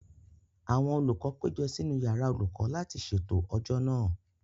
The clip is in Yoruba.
Àwọn olùkọ́ péjọ sínú yàrá olùkọ́ láti ṣètò ọjọ́ náà